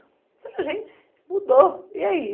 Eu falei, gente, mudou, e aí?